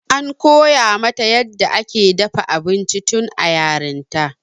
an koya mata yadda ake dafa abinci tun a yarinta